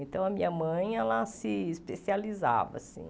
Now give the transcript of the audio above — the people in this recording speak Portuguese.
Então, a minha mãe, ela se especializava, assim.